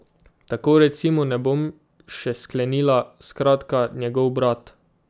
Tako recimo, ne bom še sklenila, skratka, njegov brat.